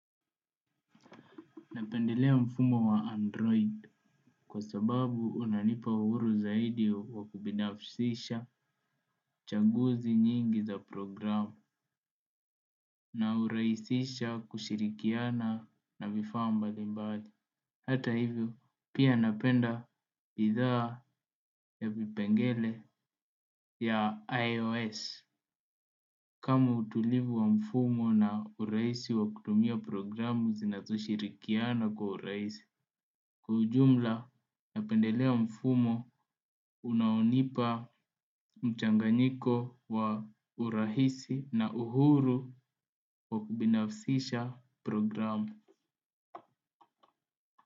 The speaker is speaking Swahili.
Napendelea mfumo wa Android kwa sababu unanipa uhuru zaidi wa kubinafsisha chaguzi nyingi za programu na huraisisha kushirikiana na vifaa mbali mbali. Hata hivyo pia napenda idhaa ya vipengele ya iOS. Kama utulivu wa mfumo na urahisi wa kutumia programu zinazo shirikiana kwa urahisi. Kiujumla napendelea mfumo unaonipa mchanganyiko wa urahisi na uhuru wa kubinafsisha programu.